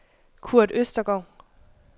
Kurt Østergaard